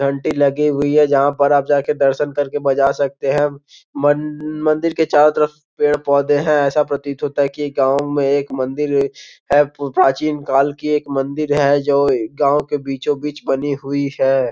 घंटी लगी हुई है जहां पर आ जा के दर्शन करके बजा सकते हैं मनन मंदिर के चारों तरफ पेड़-पौधे हैं ऐसा प्रतीत होता है कि एक गांव में एक मंदिर है प्राचीन काल की एक मंदिर है जो गांव के बीचों बीच बनी हुई है।